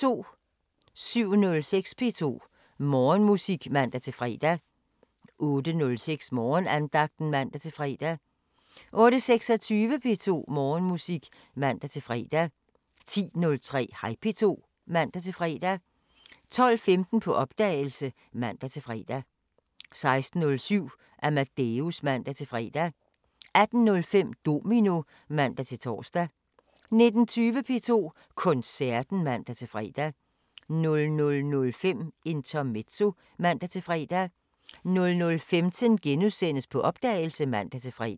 07:06: P2 Morgenmusik (man-fre) 08:06: Morgenandagten (man-fre) 08:26: P2 Morgenmusik (man-fre) 10:03: Hej P2 (man-fre) 12:15: På opdagelse (man-fre) 16:07: Amadeus (man-fre) 18:05: Domino (man-tor) 19:20: P2 Koncerten (man-fre) 00:05: Intermezzo (man-fre) 00:15: På opdagelse *(man-fre)